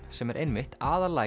sem er einmitt